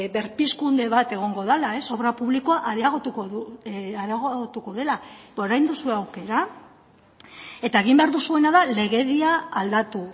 berpizkunde bat egongo dela obra publikoa areagotuko dela ba orain duzue aukera eta egin behar duzuena da legedia aldatu